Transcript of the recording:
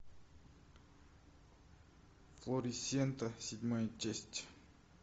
флорисента седьмая часть